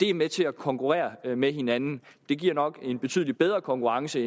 er med til at konkurrere med hinanden det giver nok en betydelig bedre konkurrence